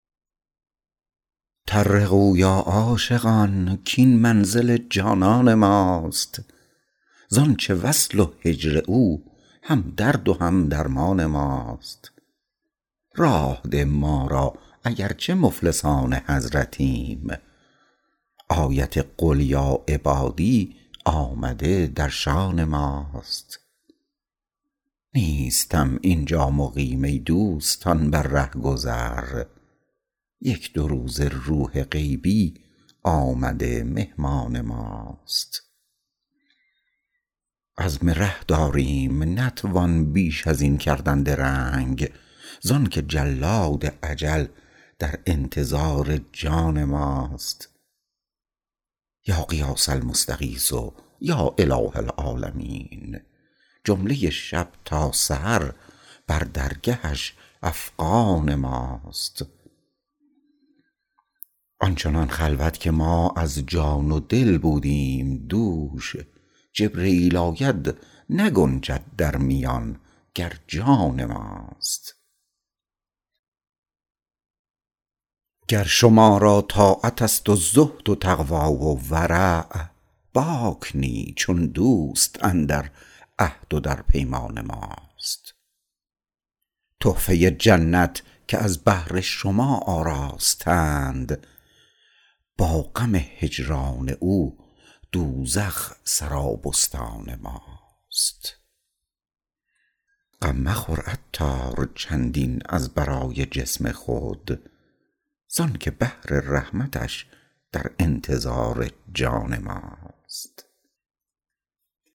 طرقوا یا عاشقان کین منزل جانان ماست زانچه وصل و هجر او هم درد و هم درمان ماست راه ده ما را اگر چه مفلسان حضرتیم آیت قل یا عبادی آمده در شان ماست نیستم اینجا مقیم ای دوستان بر رهگذر یک دو روزه روح غیبی آمده مهمان ماست عزم ره داریم نتوان بیش از این کردن درنگ زانکه جلاد اجل در انتظار جان ماست یا غیاث المستغیث یا اله العالمین جمله شب تا سحر بر درگهش افغان ماست آن چنان خلوت که ما از جان و دل بودیم دوش جبرییل آید نگنجد در میان گر جان ماست گر شما را طاعت است و زهد و تقوی و ورع باک نیست چون دوست اندر عهد و در پیمان ماست تحفه جنت که از بهر شما آراستند با غم هجران او دوزخ سرابستان ماست غم مخور عطار چندین از برای جسم خود زانکه بحر رحمتش در انتظار جان ماست